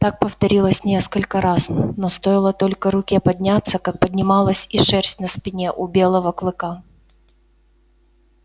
так повторилось несколько раз но стоило только руке подняться как поднималась и шерсть на спине у белого кыка